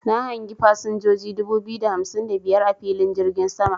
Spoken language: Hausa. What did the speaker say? Na hangi fasinjoji dubu biyu da hamsin da biyar a filin jirgin sama.